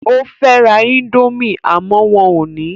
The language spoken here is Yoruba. O fẹ́ ra indomie àmọ́ wọn ò ní